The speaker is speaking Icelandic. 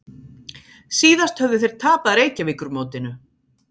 Síðast höfðu þeir tapað Reykjavíkurmótinu